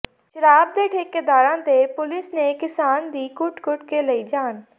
ਸ਼ਰਾਬ ਦੇ ਠੇਕੇਦਾਰਾਂ ਤੇ ਪੁਲੀਸ ਨੇ ਕਿਸਾਨ ਦੀ ਕੁੱਟ ਕੁੱਟ ਕੇ ਲਈ ਜਾਨ